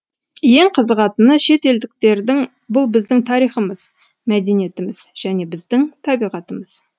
ең қызығатыны шет елдіктердің бұл біздің тарихымыз мәдениетіміз және біздің табиғатымыз